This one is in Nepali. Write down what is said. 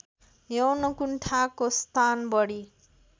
यौनकुण्ठाको स्थान बढी